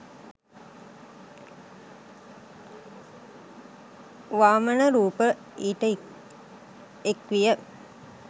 වාමන රූප ඊට එක්විය.